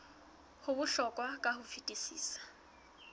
ho bohlokwa ka ho fetisisa